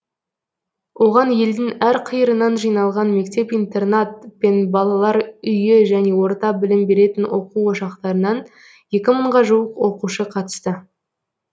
оған елдің әр қиырынан жиналған мектеп интернат пен балалар үйі және орта білім беретін оқу ошақтарынан екі мыңға жуық оқушы қатысты